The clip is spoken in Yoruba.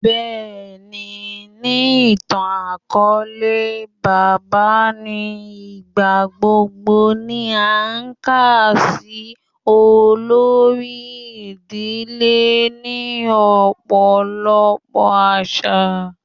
Bẹẹni, ni itan-akọọlẹ, baba ni igbagbogbo ni a kà si olori idile ni ọpọlọpọ aṣa